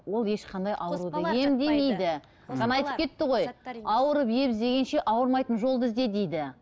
ол ешқандай аурудың ауырып ем іздегенше ауырмайтын жолды ізде дейді